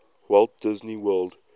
walt disney world